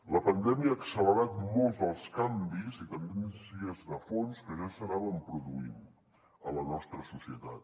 la pandèmia ha accelerat molts dels canvis i tendències de fons que ja s’anaven produint a la nostra societat